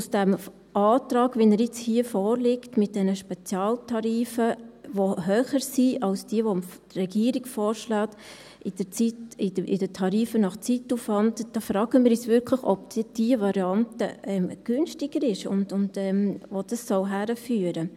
Aus dem Antrag, wie er jetzt hier vorliegt, mit diesen Spezialtarifen, die höher sind als die, welche die Regierung vorschlägt, bei den Tarifen nach Zeitaufwand, da fragen wir uns wirklich, ob denn diese Variante günstiger ist und wohin das führen soll.